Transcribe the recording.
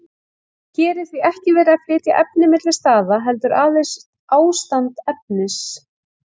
Hér er því ekki verið að flytja efni milli staða, heldur aðeins ástand efnis.